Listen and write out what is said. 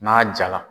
N'a jala